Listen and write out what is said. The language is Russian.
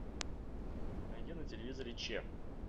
найди на телевизоре че